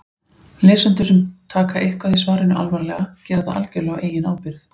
Lesendur sem taka eitthvað í svarinu alvarlega gera það algjörlega á eigin ábyrgð.